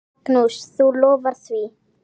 Magnús: Þú lofar því?